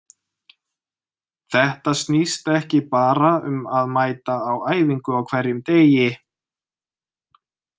Þetta snýst ekki bara um að mæta á æfingu á hverjum degi.